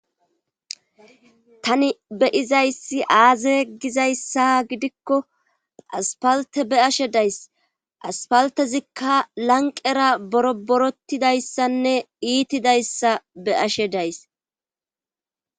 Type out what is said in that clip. Tani be izayssi aaze gizayssa gidikko aspalte be ashe days aspaltezikka lanqera boro borotidayssanne iitidayssa be ashe days.